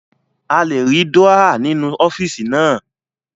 A lè rí Dúrọ́à nínú ọ́fíìsì naa